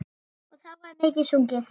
Og þá var mikið sungið.